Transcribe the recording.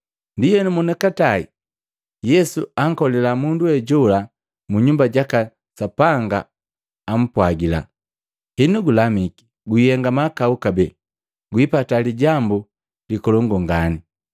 Ndienu monikatae, Yesu ankolila mundu we jola mu Nyumba jaka Sapanga apwagila, “Henu gulamiki, guihenga mahakau kabee, guipata lijambu likolongu ngani.”